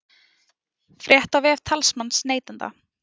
Frétt á vef talsmanns neytenda